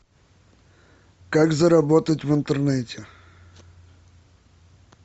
как заработать в интернете